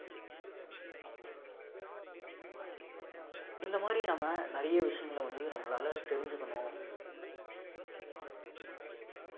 இந்த மாரி நம்ம நிறைய விஷயங்கள வந்து நம்மளால தெரிஞ்சுக்கணும்